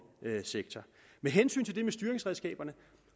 sektor med hensyn til det med styringsredskaberne